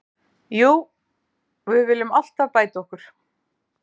Jú, við viljum alltaf bæta okkur.